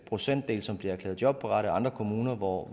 procentdel som bliver erklæret jobparate og andre kommuner hvor